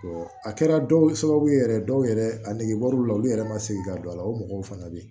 a kɛra dɔw ye sababu ye yɛrɛ dɔw yɛrɛ a negebɔla olu yɛrɛ ma segin ka don a la o mɔgɔw fana bɛ yen